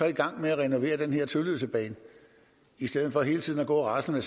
i gang med at renovere den her tølløsebane i stedet for hele tiden at gå og rasle